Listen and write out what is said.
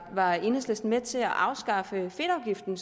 var enhedslisten med til at afskaffe fedtafgiften